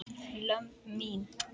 lömb mín.